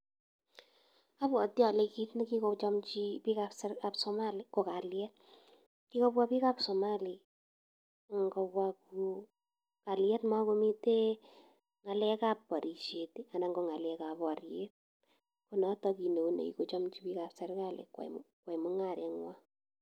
Abwati ole kit nekigochomchi biikab Somali ko kalyet. Kigobwa biikab Somali ko kalyet mogomiten ng'alekab borishet anan ng'alekab boryet. Ko noto kit neo nekikochomchi biikab Somali koyai mung'arenywan.